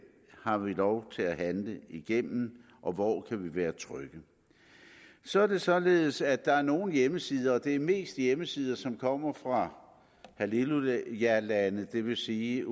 har vi lov til at handle igennem og hvor kan vi være trygge så er det således at der er nogle hjemmesider og det er mest hjemmesider som kommer fra hallelujalande det vil sige